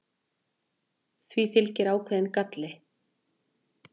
því fylgdi ákveðinn galli